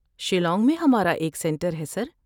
شیلانگ میں ہمارا ایک سنٹر ہے، سر۔